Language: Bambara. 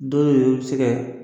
Dɔ yɛrɛ bɛ se kɛ